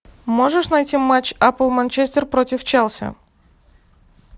можешь найти матч апл манчестер против челси